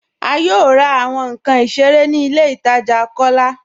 A yóò rà awọn nkàn ìṣẹ̀rẹ̀ ní ilẹ̀ ìtaja Kọlá